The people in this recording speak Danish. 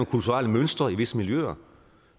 kulturelle mønstre i visse miljøer